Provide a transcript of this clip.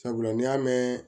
Sabula n'i y'a mɛn